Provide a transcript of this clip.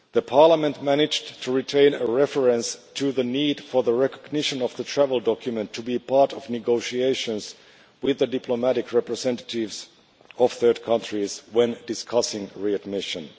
Parliament managed to retain a reference to the need for the recognition of the travel document to be part of negotiations with the diplomatic representatives of third countries when discussing re admission.